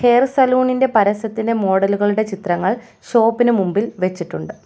Hair salon ഇൻ്റെ പരസ്യത്തിൻ്റെ മോഡലുകളുടെ ചിത്രങ്ങൾ ഷോപ്പിനു മുമ്പിൽ വെച്ചിട്ടുണ്ട്.